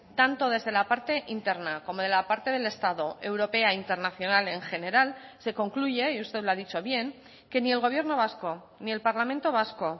tanto desde la parte interna como de la parte del estado europea internacional en general se concluye y usted lo ha dicho bien que ni el gobierno vasco ni el parlamento vasco